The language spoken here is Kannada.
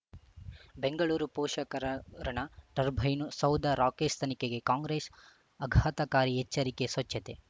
ಬೆಂಗಳೂರು ಪೋಷಕರಋಣ ಟರ್ಬೈನು ಸೌಧ ರಾಕೇಶ್ ತನಿಖೆಗೆ ಕಾಂಗ್ರೆಸ್ ಆಘಾತಕಾರಿ ಎಚ್ಚರಿಕೆ ಸ್ವಚ್ಛತೆ